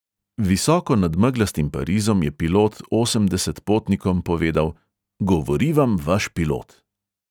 Visoko nad meglastim parizom je pilot osemdeset potnikom povedal: "govori vam vaš pilot."